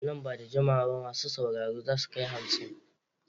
Nan ba da jimawa ba masu sauraro za su kai hamsin.